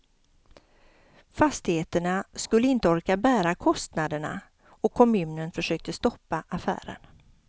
Fastigheterna skulle inte orka bära kostnaderna och kommunen försökte stoppa affären.